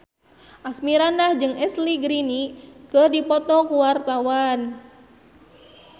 Asmirandah jeung Ashley Greene keur dipoto ku wartawan